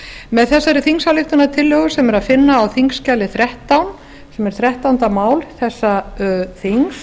með þessari þingsályktunartillögu sem er að finna á þingskjali þrettán sem er þrettánda mál þessa þings